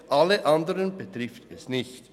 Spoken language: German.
alle anderen betrifft es nicht.